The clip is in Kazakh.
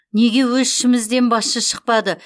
неге өз ішімізден басшы шықпады